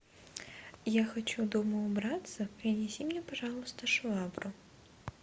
я хочу дома убраться принеси мне пожалуйста швабру